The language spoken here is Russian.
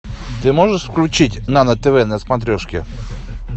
ты можешь включить нано тв на смотрешке